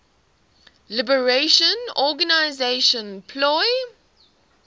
liberation organization plo